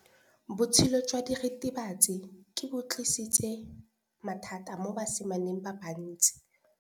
Botshelo jwa diritibatsi ke bo tlisitse mathata mo basimaneng ba bantsi.